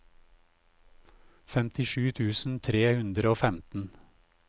femtisju tusen tre hundre og femten